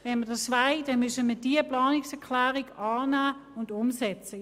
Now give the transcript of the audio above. Wenn wir dies wollen, müssen wir diese Planungserklärung annehmen und umsetzen.